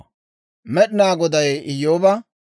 Med'inaa Goday Iyyooba,